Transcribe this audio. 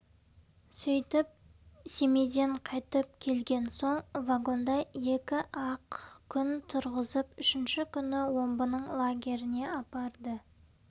сөйтіп семейден қайтып келген соң вагонда екі-ақ күн тұрғызып үшінші күні омбының лагеріне апарды